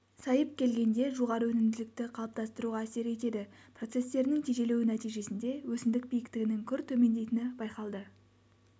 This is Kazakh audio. сайып келгенде жоғары өнімділікті қалыптастыруға әсер етеді процестерінің тежелуі нәтижесінде өсімдік биіктігінің күрт төмендейтіні байқалды